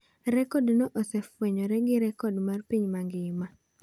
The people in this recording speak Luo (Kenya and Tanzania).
Rekod no osefwenyore gi Rekod mar Piny mangima.